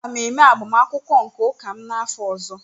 Aga m eme agbamakwụkwọ nke ụka m n'afọ ọzọ